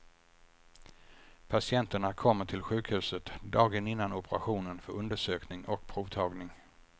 Patienterna kommer till sjukhuset dagen innan operationen för undersökning och provtagning.